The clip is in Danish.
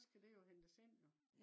så skal dej jo hentes ind jo